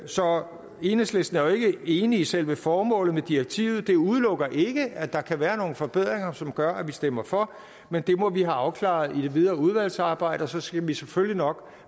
så enhedslisten er jo ikke enig i selve formålet med direktivet det udelukker ikke at der kan være nogle forbedringer som gør at vi stemmer for men det må vi have afklaret i det videre udvalgsarbejde og så skal vi selvfølgelig nok